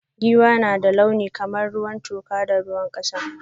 Giwa na da launi kamar ruwan toka da ruwan kasa.